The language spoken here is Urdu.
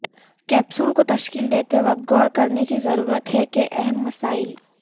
کیپسول کو تشکیل دیتے وقت غور کرنے کی ضرورت ہے کہ اہم مسائل